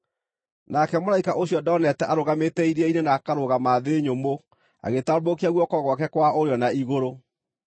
Nake mũraika ũcio ndonete arũgamĩte iria-inĩ na akarũgama thĩ nyũmũ agĩtambũrũkia guoko gwake kwa ũrĩo na igũrũ.